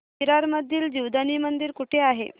विरार मधील जीवदानी मंदिर कुठे आहे